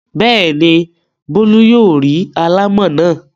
Bẹ́ẹ̀ ni, Bólú yóò rí alámọ̀ náà.